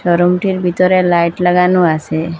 শোরুমটির ভিতরে লাইট লাগানো আসে।